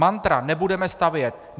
Mantra - nebudeme stavět.